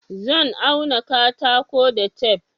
Zan auna katako da tef